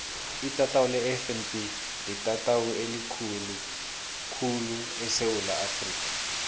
itatawu lefnb litatawu elikhulu khulu esewula afrika